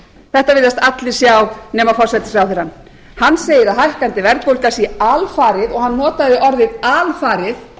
þetta virðast allir sjá nema forsætisráðherrann hann segir að hækkandi verðbólga sé alfarið og hann notaði orðið alfarið